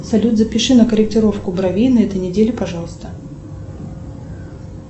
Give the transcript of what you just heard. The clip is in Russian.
салют запиши на корректировку бровей на этой неделе пожалуйста